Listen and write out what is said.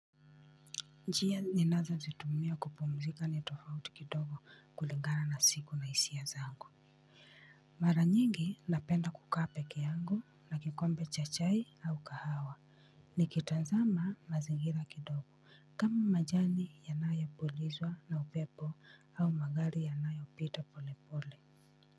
Njia ninazozitumia kupumzika ni tofauti kidogo kulingana na siku hisia zangu mara nyingi napenda kukaa peke yangu na kikombe cha chai au kahawa nikitazama mazingira kidogo kama majani yanayopulizwa na upepo au magari yanayopita pole pole.